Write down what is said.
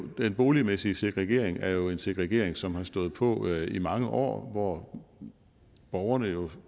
den boligmæssige segregering er jo en segregering som har stået på i mange år borgerne